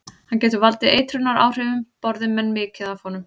Hann getur valdið eitrunaráhrifum borði menn mikið af honum.